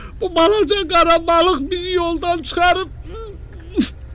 Bu balaca qara balıq bizi yoldan çıxarıb.